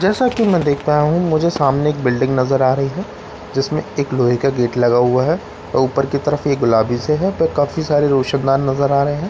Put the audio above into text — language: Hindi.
जैसा कि मैं देखता हूं मुझे सामने एक बिल्डिंग नजर आ रही है जिसमें एक लोहे का गेट लगा हुआ है ऊपर की तरफ एक गुलाबी से है पर काफी सारे रोशनदान नजर आ रहे हैं।